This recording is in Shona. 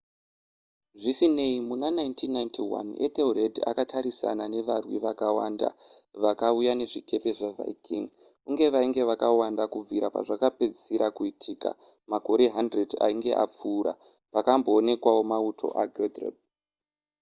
zvisinei muna 1991 ethelred akatarisana nevarwi vakawanda vakauya nezvikepe zvaviking uye vainge vakawanda kubvira pazvakapedzisira kuitika makore 100 ainge apfuura pakamboonekwawo mauto aguthrum